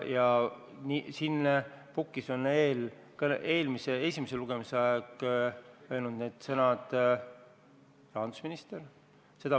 Ja siin pukis on esimese lugemise ajal öelnud need sõnad rahandusminister.